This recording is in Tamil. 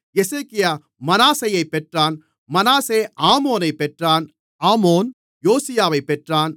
எசேக்கியா மனாசேயைப் பெற்றான் மனாசே ஆமோனைப் பெற்றான் ஆமோன் யோசியாவைப் பெற்றான்